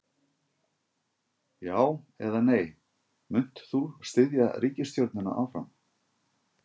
Já, eða nei, munt þú styðja ríkisstjórnina áfram?